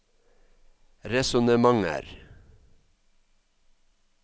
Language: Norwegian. resonnementer